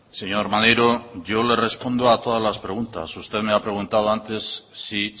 señor maneiro yo le respondo a todas las preguntas usted me ha preguntado antes si